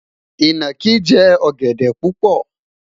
inaki jẹ ogede pupo